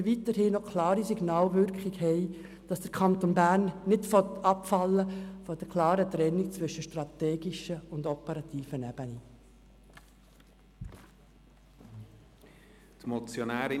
So senden wir auch ein klares Signal dafür aus, dass der Kanton Bern nicht von einer eindeutigen Trennung zwischen strategischer und operativer Ebene abweichen will.